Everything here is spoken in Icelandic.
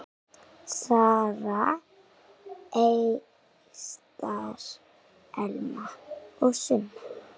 Sara, Ester, Elma og Sunna.